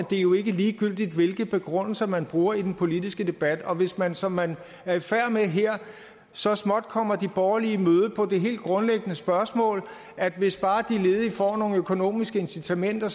det er jo ikke ligegyldigt hvilke begrundelser man bruger i den politiske debat og hvis man som man er i færd med her så småt kommer de borgerlige i møde på det helt grundlæggende spørgsmål at hvis bare de ledige får nogle økonomiske incitamenter